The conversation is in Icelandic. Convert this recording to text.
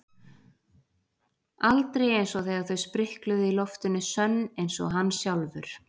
Aldrei einsog þegar þau sprikluðu í loftinu sönn einsog hann sjálfur.